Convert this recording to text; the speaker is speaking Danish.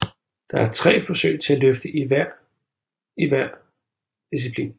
Der er tre forsøg til at løfte hver i hver disciplin